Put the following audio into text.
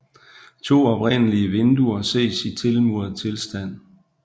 To oprindelige vinduer ses i tilmuret tilstand